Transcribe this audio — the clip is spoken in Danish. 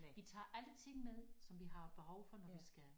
Vi tager alle ting med som vi har behov for når vi skal